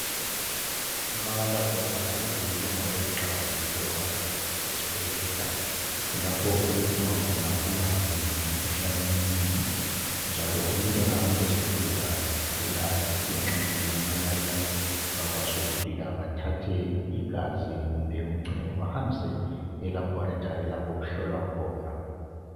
Ama laboratory zindawo eziqakathekileyo kakhulu esbhedlela ,kulapho okudingwa khona ulwazi ngemkhuhlane eminengi ,njalo umuntu engahamba esbhedlela egula, asithi engxenye ugula imalaria ,bayakwanisa ukufika bathathe igazi kumbeni umchamo bahambise elaboratory lapho okuhlolwa khona.